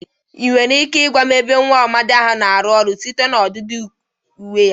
Ị nwere ike igwa m ebe nwa amadị a na-arụ ọrụ site na ọdịdị uwe ya?